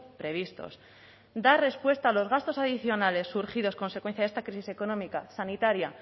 previstos dar respuesta a los gastos adicionales surgidos a consecuencia de esta crisis económica sanitaria